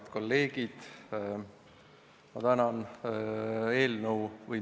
Head kolleegid!